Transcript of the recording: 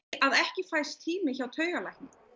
að ekki fæst tími hjá taugalækni